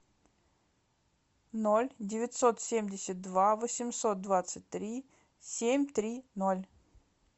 ноль девятьсот семьдесят два восемьсот двадцать три семь три ноль